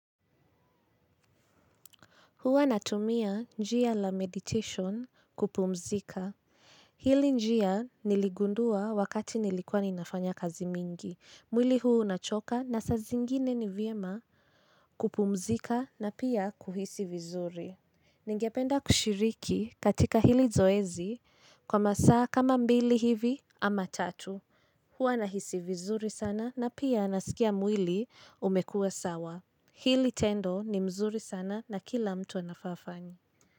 Huwa natumia njia la meditation kupumzika. Hili njia niligundua wakati nilikuwa ninafanya kazi mingi. Mwili huu unachoka na saa zingine ni vyema kupumzika na pia kuhisi vizuri. Ningependa kushiriki katika hili zoezi kwa masaa kama mbili hivi ama tatu. Huwa nahisi vizuri sana na pia nasikia mwili umekuwa sawa. Hili tendo ni mzuri sana na kila mtu anafaa afanye.